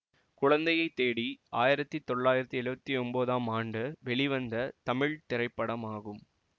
குழந்தையைத் தேடி ஆயிரத்தி தொள்ளாயிரத்தி எழுவத்தி ஒன்போதாம் ஆண்டு வெளிவந்த தமிழ் திரைப்படமாகும்